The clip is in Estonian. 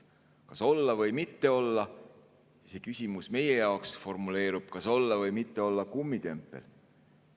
Kas olla või mitte olla, see küsimus meie jaoks formuleerub nii: kas olla või mitte olla kummitempel?